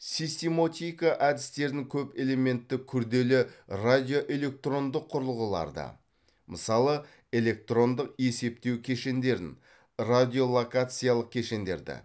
системотика әдістерін көп элементті күрделі радиоэлектрондық құрылғыларды мысалы электрондық есептеу кешендерін радиолокациялық кешендерді